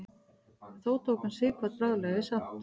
þó tók hann sighvat bráðlega í sátt